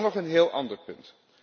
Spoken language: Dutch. Dan nog een heel ander punt.